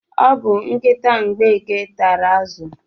O bu nkịta Mgbeke tara azụ.